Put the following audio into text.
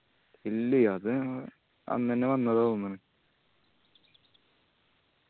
ഇല്ലേ അത് അന്നെന്നെ വന്നതാ തോന്നണ്